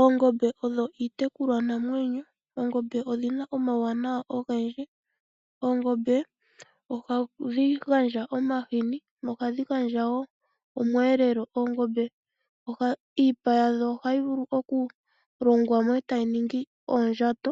Oongombe odho iitekulwanamwenyo. Oongombe odhi na omauwanawa ogendji oongombe ohadhi gandja omahini nohadhi gandja wo omweelelo. Oongombe iipa yadho ohayi vulu okulongwa mo e ta yi ningi oondjato,